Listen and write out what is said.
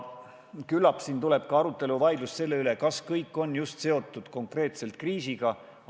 Küllap siin tekib arutelu, vaidlus selle üle, kas kõik ettepanekud on ikka konkreetselt kriisiga seotud.